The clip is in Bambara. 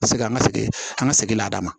Paseke an ka segin an ka segin la